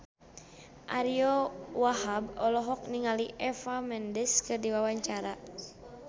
Ariyo Wahab olohok ningali Eva Mendes keur diwawancara